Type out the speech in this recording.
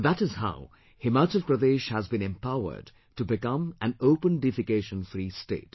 And that is how Himachal Pradesh has been empowered to become an Open Defecation Free state